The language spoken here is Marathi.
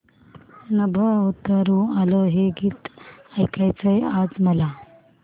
नभं उतरू आलं हे गीत ऐकायचंय आज मला